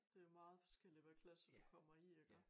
Det meget forskelligt hvad klasse du kommer i iggå